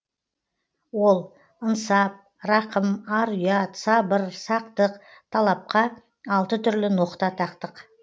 ол ынсап рақым ар ұят сабыр сақтық талапқа алты түрлі ноқта тақтық